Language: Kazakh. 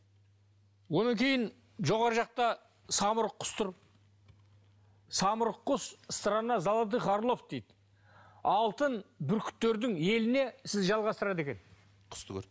одан кейін жоғарғы жақта самұрық құс тұр самұрық құс страна золотых орлов дейді алтын бүркіттердің еліне сізді жалғастырады екен